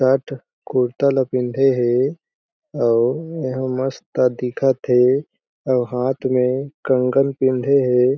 Shirt kurta ला पिँधे हे अउ एहा मस्त दिखत हे अउ हाथ में कंगन पिँधे हे।